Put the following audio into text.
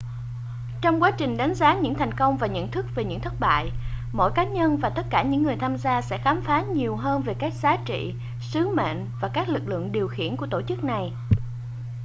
trong quá trình đánh giá những thành công và nhận thức về những thất bại mỗi cá nhân và tất cả những người tham gia sẽ khám phá nhiều hơn về các giá trị sứ mệnh và các lực lượng điều khiển của tổ chức này